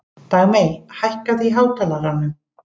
Dagmey, hækkaðu í hátalaranum.